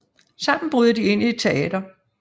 Sammen bryder de ind i et teater